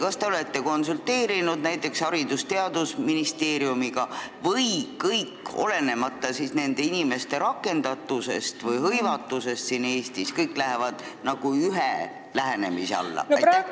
Kas te olete konsulteerinud näiteks Haridus- ja Teadusministeeriumiga või lähevad kõik, olenemata inimeste rakendatusest või hõivatusest siin Eestis, ühe lähenemise alla?